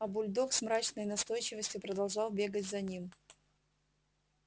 а бульдог с мрачной настойчивостью продолжал бегать за ним